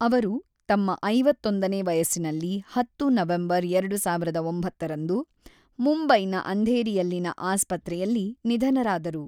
ಅವರು ತಮ್ಮ ಐವತ್ತೊಂದು ನೇ ವಯಸ್ಸಿನಲ್ಲಿ ಹತ್ತು ನವೆಂಬರ್ ಎರಡು ಸಾವಿರದ ಒಂಬತ್ತ ರಂದು ಮುಂಬೈನ ಅಂಧೇರಿಯಲ್ಲಿನ ಆಸ್ಪತ್ರೆಯಲ್ಲಿ ನಿಧನರಾದರು.